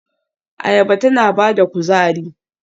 Ayaba tana ba da kuzari.